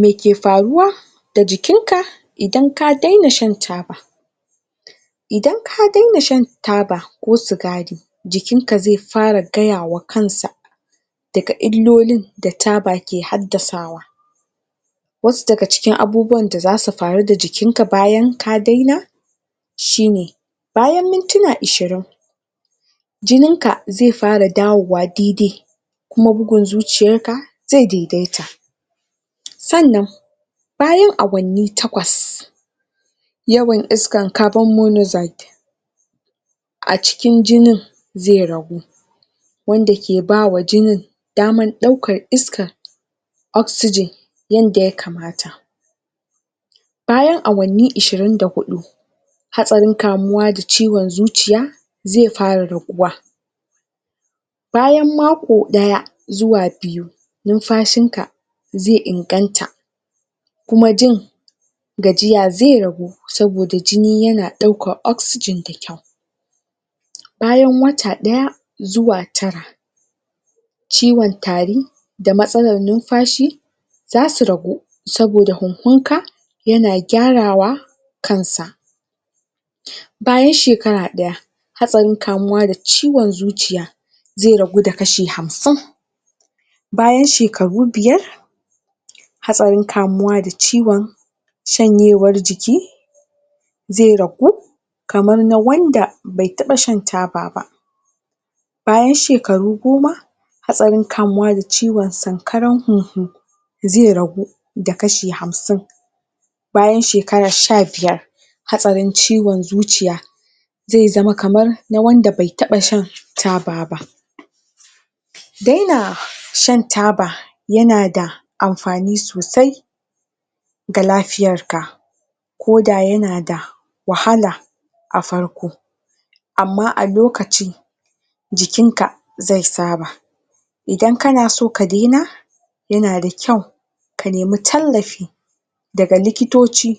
Me ke faruwa da jikinka idan ka daina shan taba? Idan ka daina shan taba ko sigari jikinka zai fara gaya wa kansa daga illolin da taba ke haddasawa wasu daga cikin abubuwan da za su faru da jikinka bayan ka daina shi ne bayan mintuna ishirin jininka zai fara dawowa daidai kuma bugun zuciyarka zai daidaita sannan bayan awanni takwas yawan iskan carbon monoxide a cikin jinin zai ragu wanda ke ba wa jinin damar ɗaukan iska oxygen bayan awanni ashirin da huɗu hatsarin kamuwa da ciwon zuciya zai fara raguwa bayan mako ɗaya zuwa biyu numfashinka zai inganta kuma jin gajiya zai ragu saboda jini yana ɗaukan oxygen bayan wata ɗaya zuwa tara ciwon tari da matsalar numfashi za su ragu saboda huhunka yana gyarawa kansa bayan shekara ɗaya hatsarin kamuwa da ciwon zuciya zai ragu da kshi hamsin bayan shekaru biyar hatsarin kamuwa da ciwon shanyewar jiki zai ragu kamar na wanda bai taɓa shan taba ba. Bayan shekaru goma, hatsarin kamuwa da ciwon sankarar huhu zai ragu da kashi hamsin bayan shekara sha biyar hatsarin ciwon zuciya zai zama kamar na wanda bai taɓa shan taba ba. Daina shan taba yana da amfani sosai, ga lafiyarka. ko da yana da wahala a farko amma a lokaci jikinka zai saba idan kana so ka daina yana da kyau ka nemi tallafi daga likitoci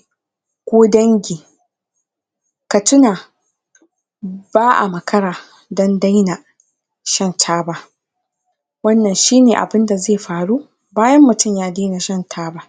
ko dangi ka tuna ba a makara don daina shan taba. wannan shi ne abun da zai faru bayan mutum ya daina shan taba.